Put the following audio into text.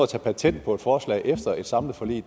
tage patent på forslag efter et samlet forlig